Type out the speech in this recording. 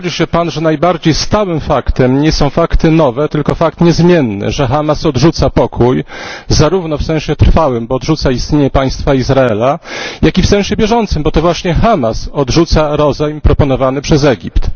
Czy zgodzi się Pan, że najbardziej stałym faktem nie jest fakt nowy, tylko fakt niezmienny, że Hamas odrzuca pokój, zarówno w sensie trwałym, bo odrzuca istnienie państwa Izrael, jak i w sensie bieżącym, bo to właśnie Hamas odrzuca rozejm proponowany przez Egipt?